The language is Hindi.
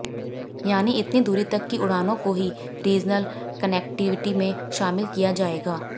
यानि इतनी दूरी तक की उड़ानों को ही रीजनल कनेक्टीविटी में शामिल किया जाएगा